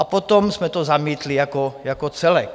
A potom jsme to zamítli jako celek.